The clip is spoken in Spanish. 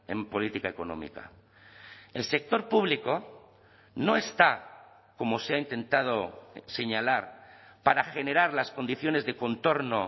en política económica el sector público no está como se ha intentado señalar para generar las condiciones de contorno